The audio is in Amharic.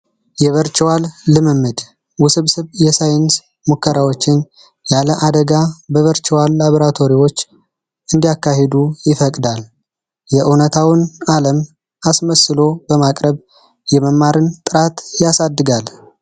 የቨርችዋል ልምምድ ውስብስብ የሳይንስ ሙከራዎች ያለ አደጋ በቨርችዋለሁ ላቦራቶሪዎች እንዲያካሄድ ይፈቅዳል የእውነታውን ዓለም አስመስሎ በማቅረብ የመማርን ጥራት ያሳድጋል።